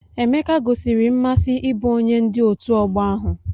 Emeke gosiri mmasị ịbụ onye ndu ọtu ogbo ahu.